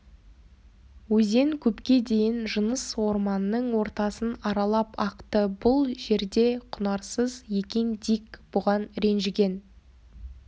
өзен көпке дейін жыныс орманның ортасын аралап ақты бұл жер де құнарсыз екен дик бұған ренжіген